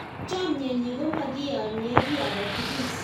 Chamyenyi ko makiyonye kiy ake tukul